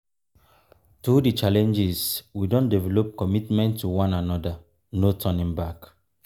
through the challenges we don develop commitment to one another no turning back.